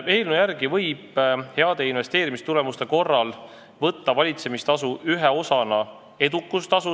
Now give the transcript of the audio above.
Eelnõu järgi võib heade investeerimistulemuste korral võtta valitsemistasu ühe osana edukustasu.